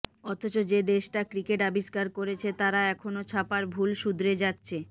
অথচ যে দেশটা ক্রিকেট আবিষ্কার করেছে তারা এখনও ছাপার ভুল শুধরে যাচ্ছে